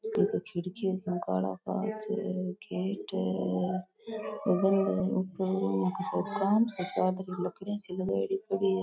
खिड़कियों ने काला कांच है और काम सा चाल रो है --